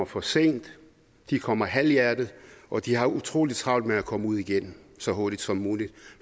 for sent de kommer halvhjertet og de har utrolig travlt med at komme ud igen så hurtigt som muligt